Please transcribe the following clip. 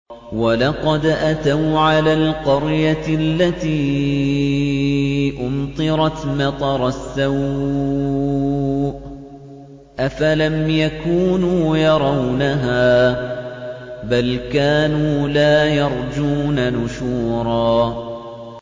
وَلَقَدْ أَتَوْا عَلَى الْقَرْيَةِ الَّتِي أُمْطِرَتْ مَطَرَ السَّوْءِ ۚ أَفَلَمْ يَكُونُوا يَرَوْنَهَا ۚ بَلْ كَانُوا لَا يَرْجُونَ نُشُورًا